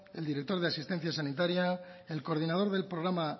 el director de asistencia sanitaria el coordinador del programa